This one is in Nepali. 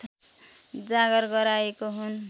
जागर गराएको हुन